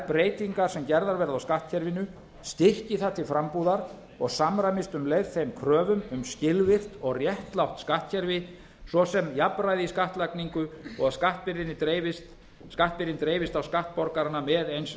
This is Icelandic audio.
breytingar sem gerðar verða á skattkerfinu styrki það til frambúðar og samræmist um leið þeim kröfum sem skilvirkt og réttlátt skattkerfi svo sem jafnræði í skattlagningu og að skattbyrðin dreifist á skattborgarana með eins